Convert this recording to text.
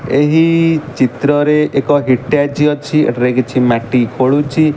ଏହି ଚିତ୍ର ରେ ଏକ ହିଟାଜି ଅଛି ଏଠାରେ କିଛି ମାଟି ଖୋଲୁଛି।